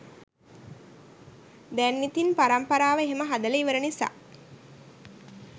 දැන් ඉතින් පරම්පරාව එහෙම හදලා ඉවර නිසා